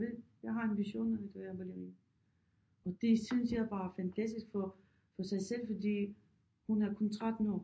Jeg vil jeg har ambitioner om at være ballerina og det synes jeg bare er fantastisk for for sig selv fordi hun er kun 13 år